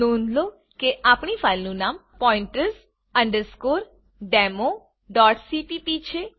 નોંધ લો કે આપણી ફાઈલનું નામ pointers democpp છે